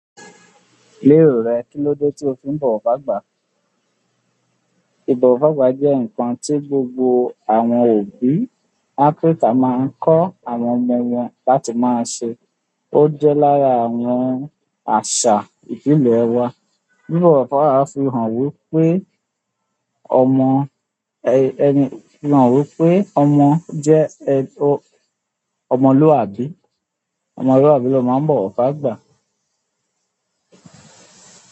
Lero rẹ kinlode to fi n bọwọ fagba. Ìbọ̀wọ̀ fágba jẹ́ nǹkan tí gbogbo àwọn òbí Áfríkà máa ń kọ́ àwọn ọmọ wọn láti máa ṣe. Ó jẹ́ lára àwọn àṣà ìbílẹ̀ wa. Bibọ̀wọ̀ fágba máa fi hàn wípé ọmọ, ẹ. Ẹni, hàn wípé ọmọ jẹ́, ẹ. O, ọmọlúwàbí. Ọmọlúwàbí ló máa ń bọ̀wọ̀ fágba.